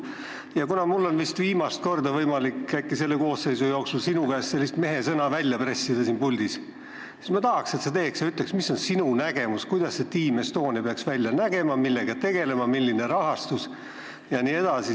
Ja kuna mul on vist viimast korda võimalik selle koosseisu jooksul sinu käest mehesõna välja pressida, siis palun ütle, milline on sinu nägemus, kuidas see Team Estonia peaks välja nägema, millega tegelema, milline on tema rahastus jne.